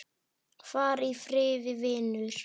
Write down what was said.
Far í friði, vinur.